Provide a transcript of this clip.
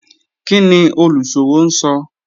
Kini oluṣowo n sọ?